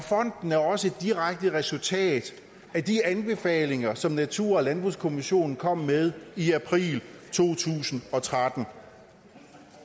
fonden er også et direkte resultat af de anbefalinger som natur og landbrugskommissionen kom med i april to tusind og tretten